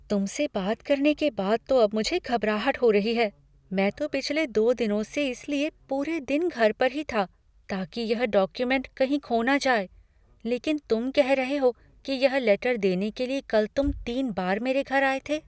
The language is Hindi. तुमसे बात करने के बाद तो अब मुझे घबराहट हो रही है, मैं तो पिछले दो दिनों से इसलिए पूरे दिन घर पर ही था, ताकि यह डॉक्यूमेंट कहीं खो ना जाए, लेकिन तुम कह रहे हो कि यह लेटर देने के लिए कल तुम तीन बार मेरे घर आए थे।